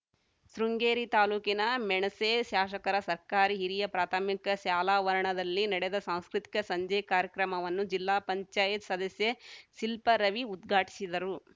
ಶೃಂಗೇರಿ ತಾಲೂಕಿನ ಮೆಣಸೆ ಶಾಸಕರ ಸರ್ಕಾರಿ ಹಿರಿಯ ಪ್ರಾಥಮಿಕ ಶಾಲಾವರಣದಲ್ಲಿ ನಡೆದ ಸಾಂಸ್ಕೃತಿಕ ಸಂಜೆ ಕಾರ್ಯಕ್ರಮವನ್ನು ಜಿಲ್ಲಾ ಪಂಚಾಯತ್ ಸದಸ್ಯೆ ಶಿಲ್ಪ ರವಿ ಉದ್ಘಾಟಿಸಿದರು